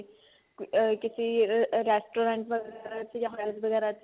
ਅਮ ਕਿਸੀ restaurant ਵਗੇਰਾ ਚ palace ਵਗੇਰਾ ਚ